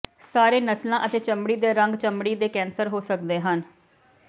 ਸਾਰੇ ਨਸਲਾਂ ਅਤੇ ਚਮੜੀ ਦੇ ਰੰਗ ਚਮੜੀ ਦੇ ਕੈਂਸਰ ਹੋ ਸਕਦੇ ਹਨ